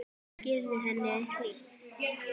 Kannski yrði henni hlíft.